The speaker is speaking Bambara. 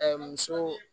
muso